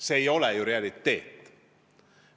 See ei ole ju reaalne!